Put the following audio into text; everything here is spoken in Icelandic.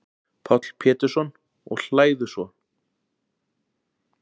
Páll Pétursson, og hlæðu svo.